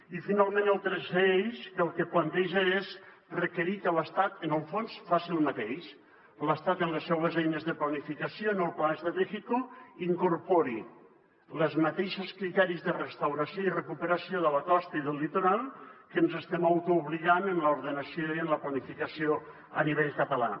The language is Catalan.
i finalment el tercer eix que el que planteja és requerir que l’estat en el fons faci el mateix que l’estat en les seues eines de planificació en el plan estratégico incorpori els mateixos criteris de restauració i recuperació de la costa i del litoral a que ens estem autoobligant en l’ordenació i en la planificació a nivell català